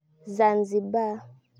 Zanzibar.